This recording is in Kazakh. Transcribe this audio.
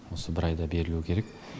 осы бір айда берілу керек